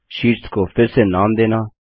sheets को फिर से नाम देना